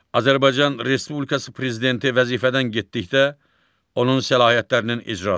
Azərbaycan Respublikası prezidenti vəzifədən getdikdə onun səlahiyyətlərinin icrası.